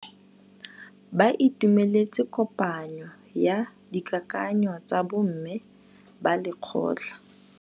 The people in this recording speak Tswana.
Ba itumeletse kôpanyo ya dikakanyô tsa bo mme ba lekgotla.